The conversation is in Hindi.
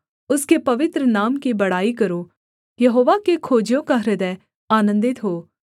उसके पवित्र नाम की बड़ाई करो यहोवा के खोजियों का हृदय आनन्दित हो